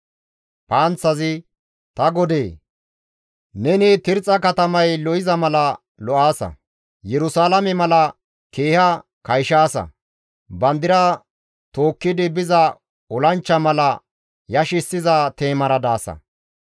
«Ta godee! Neni Tirxxa katamay lo7iza mala lo7aasa; Yerusalaame mala keeha kayshaasa; bandira tookkidi biza olanchcha mala yashissiza teemara daasa.